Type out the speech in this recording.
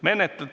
Aitäh!